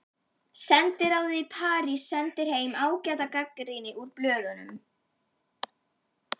Sendiráðið í París sendir heim ágæta gagnrýni úr blöðum.